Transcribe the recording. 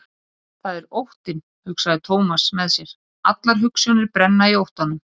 Það er óttinn, hugsaði Thomas með sér, allar hugsjónir brenna í óttanum.